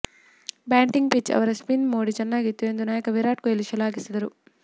batting pitch ಅವರ spin ಮೋಡಿ ಚೆನ್ನಾಗಿತ್ತು ಎಂದು ನಾಯಕ ವಿರಾಟ್ ಕೊಹ್ಲಿ ಶ್ಲಾಘಿಸಿದರು